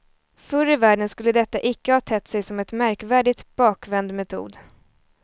Förr i världen skulle detta icke ha tett sig som en märkvärdigt bakvänd metod.